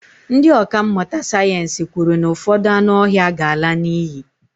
ndị ọkà mmụta sayensị kwuru na ụfọdụ anụ ọhịa ga-ala n'iyi